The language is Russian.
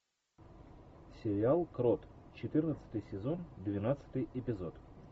сериал крот четырнадцатый сезон двенадцатый эпизод